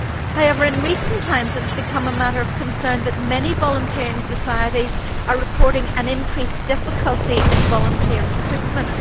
However, in recent times it has become a matter of concern that many volunteering societies are reporting an increased difficulty in volunteer recruitment.